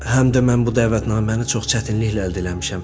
Həm də mən bu dəvətnaməni çox çətinliklə əldə eləmişəm.